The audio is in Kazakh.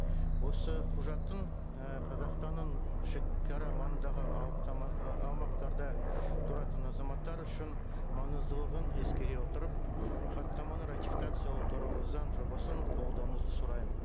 осы құжаттың і қазақстанның шегара маңындағы ы аумақтарда тұратын азаматтар үшін маңыздылығын ескере отырып хаттаманы ратификациялау туралы заң жобасын қабылдауыңызды